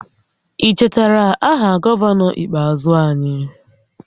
Ị chetara aha gọvanọ ikpeazụ anyị?